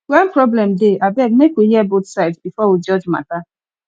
when problem dey abeg make we hear both sides before we judge matter